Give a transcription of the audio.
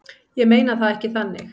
Ég meina það ekki þannig.